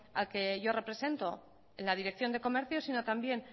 al que yo represento en la dirección de comercio sino también